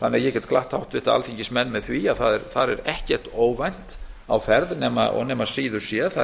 þannig að ég get glatt háttvirtir alþingismenn með því að það er ekkert óvænt á ferð nema síður sé það er